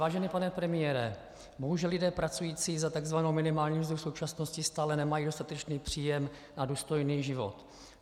Vážený pane premiére, bohužel lidé pracující za takzvanou minimální mzdu v současnosti stále nemají dostatečný příjem na důstojný život.